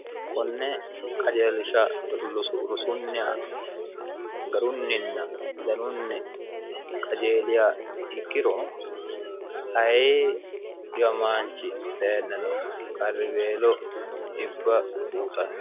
konne qajeelisha rusunnhs garunninna danunni qajeeliha ikkiro ayi dhiwamaanchi dayinnano qarriweelo xibba buuxanno